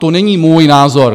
To není můj názor.